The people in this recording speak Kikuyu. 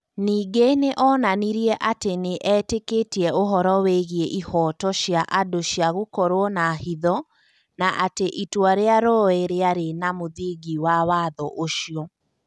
Ningĩ nĩ onanirie atĩ nĩ eetĩkĩtie ũhoro wĩgiĩ ihooto cia andũ cia gũkorwo na hitho, na atĩ itua rĩa Roe rĩarĩ na mũthingi wa watho ũcio.